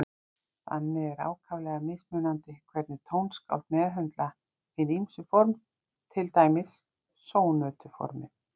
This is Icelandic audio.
Þannig er ákaflega mismunandi hvernig tónskáld meðhöndla hin ýmsu form, til dæmis sónötuformið.